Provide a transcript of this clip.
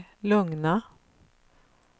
lugna